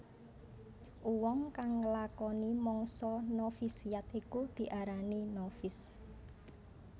Uwong kang nglakoni mangsa novisiat iku diarani novis